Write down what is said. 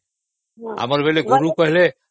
ଆମର ବେଳେ ଗୁରୁ କହିଲେ